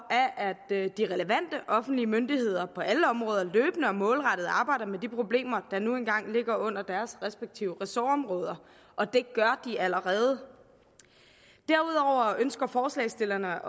er at de relevante offentlige myndigheder på alle områder løbende og målrettet arbejder med de problemer der nu engang ligger under deres respektive ressortområder og det gør de allerede derudover ønsker forslagsstillerne